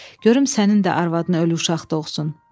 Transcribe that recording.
Görüm sənin də arvadına ölü uşaq doğsun.